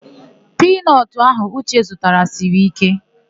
Piinọtụ ahụ Uche zụtara siri íké.